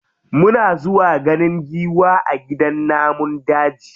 Muna zuwa ganin giwa a gidan namun daji.